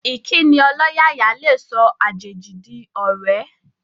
Ìkíni ọlọ́yàyà lè sọ àjèjì di ọ̀rẹ́